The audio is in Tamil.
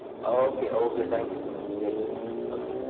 Okay okay கண்டிபா take it okay